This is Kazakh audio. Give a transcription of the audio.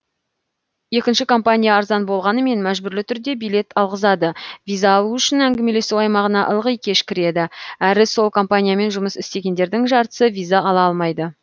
екінші компания арзан болғанымен мәжбүрлі түрде билет алғызады виза алу үшін әңгімелесу аймағына ылғи кеш кіреді әрі сол компаниямен жұмыс істегендердің жартысы виза ала алмайды